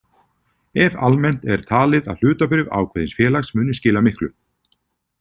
Ef almennt er talið að hlutabréf ákveðins félags muni skila miklu.